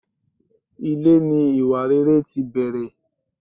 Ilé ní iwáréré tí bẹrè